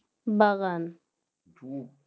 বাগান